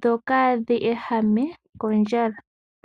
dho kadhi ehame kondjala.